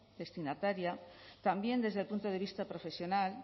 destinataria también desde el punto de vista profesional